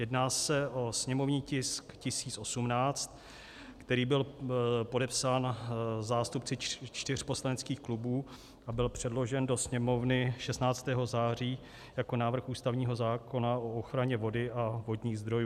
Jedná se o sněmovní tisk 1018, který byl podepsán zástupci čtyř poslaneckých klubů a byl předložen do Sněmovny 16. září jako návrh ústavního zákona o ochraně vody a vodních zdrojů.